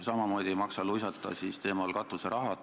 Samamoodi ei maksa luisata katuseraha teemal.